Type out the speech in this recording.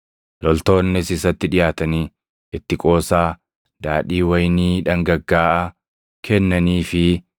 Loltoonnis isatti dhiʼaatanii itti qoosaa daadhii wayinii dhangaggaaʼaa kennaniifii,